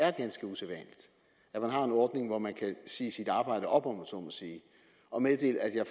er ganske usædvanligt at man har en ordning hvor man kan sige sit arbejde op om jeg så må sige og meddele at